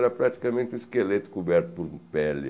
Era praticamente um esqueleto coberto por pele.